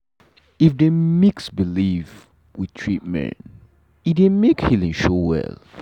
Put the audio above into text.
if dey mix belief with treatment e dey make healing show well.